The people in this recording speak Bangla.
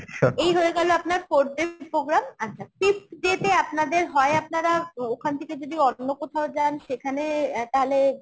এই হয়ে গেল আপনার fourth day programme আচ্ছা fifth day তে আপনাদের হয় আপনারা ওখান থেকে যদি অন্য কোথাও যান সেখানে তাহলে